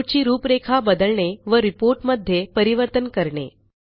report ची रूपरेखा बदलणे व Reportमध्ये परिवर्तन करणे